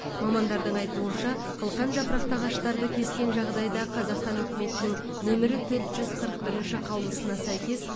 мамандардың айтуынша қылқанжапырақты ағаштарды кескен жағдайда қазақстан үкіметінің нөмірі төрт жүз қырық бірінші қаулысына сәйкес